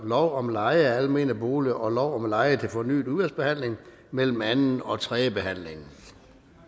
lov om leje af almene boliger og lov om leje til fornyet udvalgsbehandling mellem anden og tredje behandling